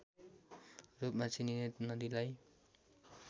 रूपमा चिनिने नदीलाई